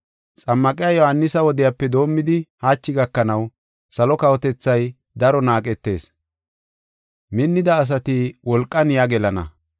Xammaqiya Yohaanisa wodiyape doomidi hachi gakanaw salo kawotethay daro naaqetees, minnida asati wolqan yaa gelana.